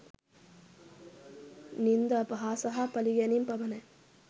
නින්දා අපහාස හා පලිගැනීම් පමණයි